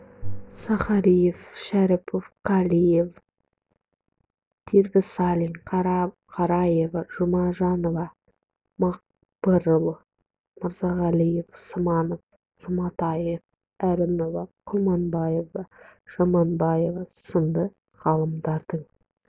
сахариев шәріпов қалиев дербісалин қараев жұмажанова мақпырұлы мырзағалиев сманов жұматаева әрінова құрманбаева жаманбаева сынды ғалымдардың